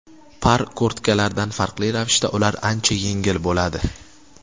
Par kurtkalardan farqli ravishda ular ancha yengil bo‘ladi.